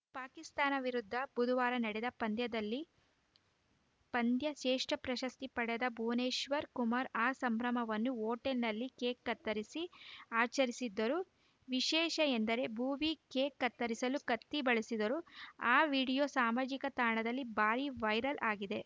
ಪಾಕಿಸ್ತಾನ ವಿರುದ್ಧ ಬುಧವಾರ ನಡೆದ ಪಂದ್ಯದಲ್ಲಿ ಪಂದ್ಯ ಶ್ರೇಷ್ಠ ಪ್ರಶಸ್ತಿ ಪಡೆದ ಭುವನೇಶ್ವರ್‌ ಕುಮಾರ್‌ ಆ ಸಂಭ್ರಮವನ್ನು ಹೋಟೆಲ್‌ನಲ್ಲಿ ಕೇಕ್‌ ಕತ್ತರಿಸಿ ಆಚರಿಸಿದರು ವಿಶೇಷ ಎಂದರೆ ಭುವಿ ಕೇಕ್‌ ಕತ್ತರಿಸಲು ಕತ್ತಿ ಬಳಸಿದರು ಆ ವಿಡಿಯೋ ಸಾಮಾಜಿಕ ತಾಣದಲ್ಲಿ ಭಾರೀ ವೈರಲ್‌ ಆಗಿದೆ